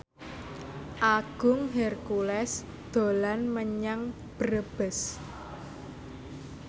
Agung Hercules dolan menyang Brebes